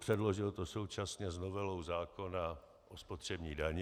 Předložil to současně s novelou zákona o spotřební dani.